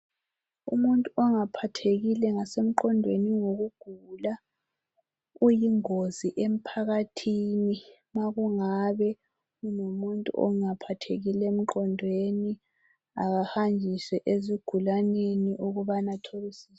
Umuntu ongaphathekile emqondweni ngokugula uyingozi emphakathini. Umuntu onjalo akahanjiswe ezigulaneni ukubana athole usizo.